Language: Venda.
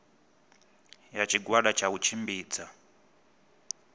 ya tshigwada tsha u tshimbidza